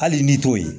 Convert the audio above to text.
Hali ni t'o ye